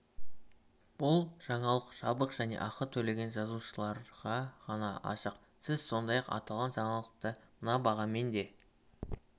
бұл жаңалық жабық және ақы төлеген жазылушыларға ғана ашық сіз сондай-ақ аталған жаңалықты мына бағамен де